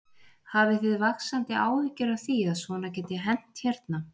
Hafið þið vaxandi áhyggjur af því að svona geti hent hérna?